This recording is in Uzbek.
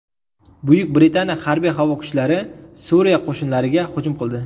Buyuk Britaniya harbiy-havo kuchlari Suriya qo‘shinlariga hujum qildi.